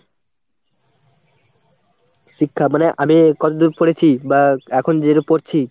শিক্ষা মানে আমি কতদূর পড়েছি বা এখন যেরকম পড়ছি?